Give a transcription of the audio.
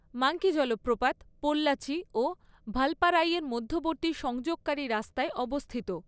Monkey জলপ্রপাত পোল্লাচি ও ভালপারাইয়ের মধ্যবর্তী সংযোগকারী রাস্তায় অবস্থিত।